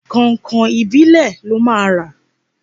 Kọ̀nkọ̀n ìbílẹ̀ lọ máa rà.